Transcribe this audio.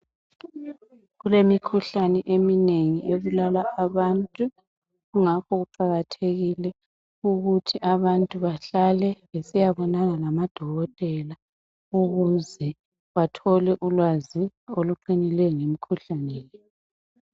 Kulemikhuhlani eminengi ebulala abantu kungakho kuqakathekile ukuthi abantu bahlale besiyabonana lamadokotela ukuze bathole ulwazi oluqinileyo ngemkhuhlane le.